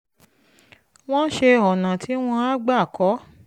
wọ́n ṣe ọ̀nà tí wọ́n á gbà kọ́